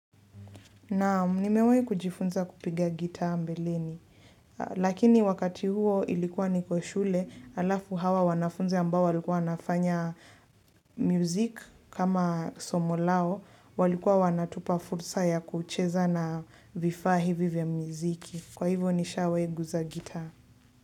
Naam nimewahi kujifunza kupiga gitaa mbeleni, lakini wakati huo ilikuwa niko shule, alafu hawa wanafunzi ambao walikuwa wanafanya music kama somo lao, walikuwa wanatupa fursa ya kucheza na vifaa hivi vya muziki. Kwa hivyo nishawahi guza gitaa.